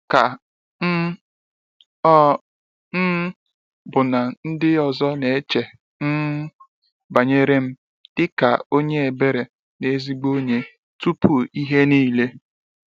ka um ọ um bụ na ndị ọzọ na eche um banyere m dị ka onye ebere na ezigbo onye tupu ihe niile?